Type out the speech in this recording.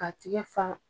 K'a tigɛ fa